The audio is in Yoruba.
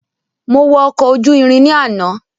Mo wọ ọkọ̀ ojú irin ní àná